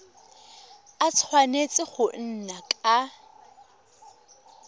a tshwanetse go nna ka